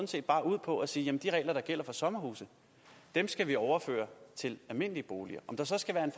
set bare ud på at sige at de regler der gælder for sommerhuse skal vi overføre til almindelige boliger om der så skal være